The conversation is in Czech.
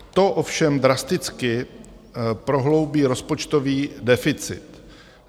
To ovšem drasticky prohloubí rozpočtový deficit.